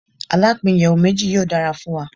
Alapin iyẹwu meji yoo dara fun wa